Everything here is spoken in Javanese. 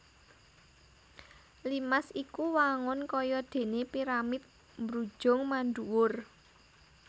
Limas iku wangun kaya déné piramid mbrujung mandhuwur